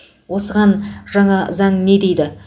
осыған жаңа заң не дейді